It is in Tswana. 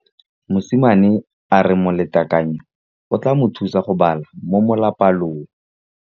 Mosimane a re molatekanyô o tla mo thusa go bala mo molapalong.